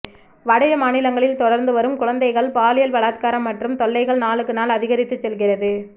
வட மாநிலங்களில் தொடர்ந்து வரும் குழந்தைகள் பாலியல் பலாத்காரம் மற்றும் தொல்லைகள் நாளுக்கு நாள் அதிகரித்து செல்கிறது